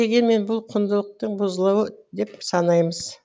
дегенмен бұл құндылықтың бұзылуы деп санаймыз